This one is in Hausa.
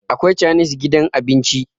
akwai chanis gidan abinci